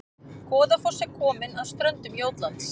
Goðafoss er komin að ströndum Jótlands